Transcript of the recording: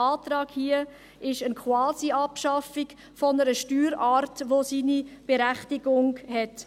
Der Antrag hier ist eine Quasiabschaffung einer Steuerart, welche ihre Berechtigung hat.